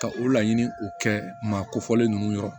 Ka o laɲini o kɛ maa ko fɔlen ninnu yɔrɔ